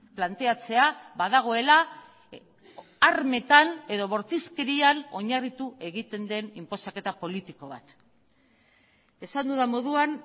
planteatzea badagoela armetan edo bortizkerian oinarritu egiten den inposaketa politiko bat esan dudan moduan